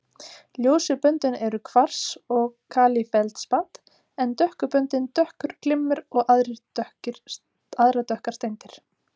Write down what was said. Ljósu böndin eru kvars og kalífeldspat en dökku böndin dökkur glimmer og aðrar dökkar steindir.